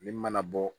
Min mana bɔ